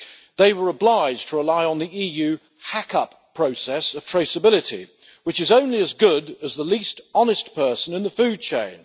They were obliged to rely on the EU hack up process of traceability which is only as good as the least honest person in the food chain.